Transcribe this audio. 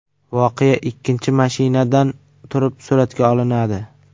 Voqea ikkinchi mashinadan turib suratga olinadi.